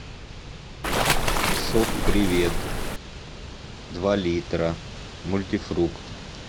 сок привет два литра мультифрукт